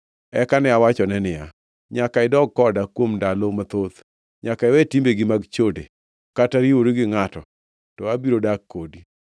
Eka ne awachone niya, “Nyaka idag koda kuom ndalo mathoth; nyaka iwe timbegi mag chode kata riwori gi ngʼato, to abiro dak kodi.”